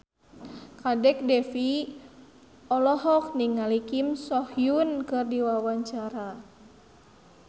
Kadek Devi olohok ningali Kim So Hyun keur diwawancara